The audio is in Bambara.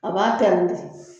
O b'a tɛngu ten